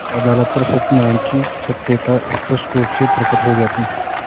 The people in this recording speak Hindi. अदालत पर सत्यनारायण की सत्यता स्पष्ट रुप से प्रकट हो जाती